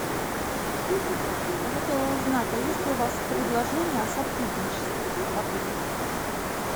я хотела узнать а есть ли у вас предложения о сотрудничестве в отеле